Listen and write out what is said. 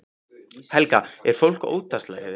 Helga: Er fólk óttaslegið?